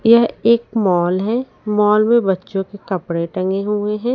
यह एक मॉल है मॉल में बच्चों के कपड़े टंगे हुए हैं।